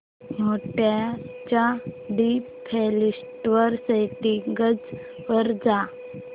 मोड च्या default settings वर जा